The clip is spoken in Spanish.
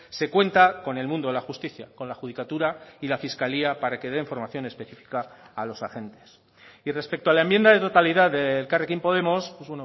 se cuenta con el mundo de la justicia con la judicatura y la fiscalía para que den formación específica a los agentes y respecto a la enmienda de totalidad de elkarrekin podemos pues